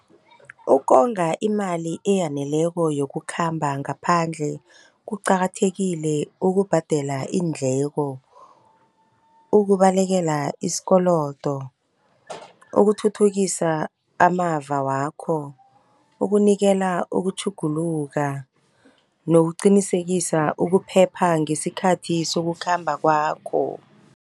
Ukonga imali eyaneleko yokukhamba ngaphandle, kuqakathekile ukubhadela iindleko, ukubalekela isikolodo, ukuthuthukisa amava wakho, ukunikela ukutjhuguluka nokuqinisekisa ukuphepha ngesikhathi sokukhamba kwakho.